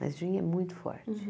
Mas gin é muito forte.